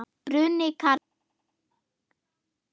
Bruni karla.